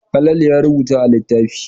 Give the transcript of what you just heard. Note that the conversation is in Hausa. Falalu na rubutu a littafi.